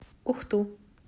ухту